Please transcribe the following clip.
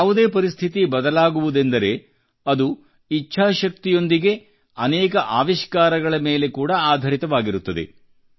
ಯಾವುದೇ ಪರಿಸ್ಥಿತಿ ಬದಲಾಗುವುದೆಂದರೆ ಇಚ್ಛಾಶಕ್ತಿಯೊಂದಿಗೆ ಅನೇಕ ಆವಿಷ್ಕಾರಗಳ ಮೇಲೆ ಕೂಡಾ ಆಧರಿತವಾಗಿರುತ್ತದೆ